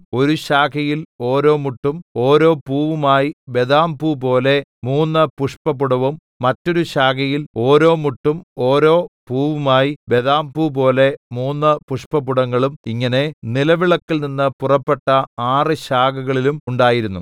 ഒരു ശാഖയിൽ ഓരോ മുട്ടും ഓരോ പൂവുമായി ബദാംപൂപോലെ മൂന്ന് പുഷ്പപുടവും മറ്റൊരു ശാഖയിൽ ഓരോ മുട്ടും ഓരോ പൂവുമായി ബദാംപൂപോലെ മൂന്ന് പുഷ്പപുടങ്ങളും ഇങ്ങനെ നിലവിളക്കിൽനിന്ന് പുറപ്പെട്ട ആറ് ശാഖകളിലും ഉണ്ടായിരുന്നു